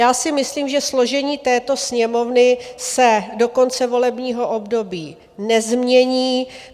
Já si myslím, že složení této Sněmovny se do konce volebního období nezmění.